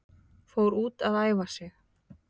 Fór út að æfa sig